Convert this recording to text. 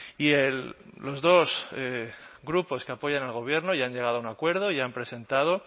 y los dos grupos que apoyan al gobierno y han llegado a un acuerdo y han presentado